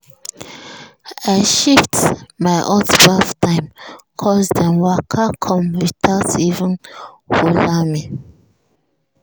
i shift my hot baff time 'cos dem waka come without even holler me.